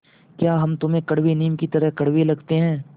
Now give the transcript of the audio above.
या हम तुम्हें कड़वे नीम की तरह कड़वे लगते हैं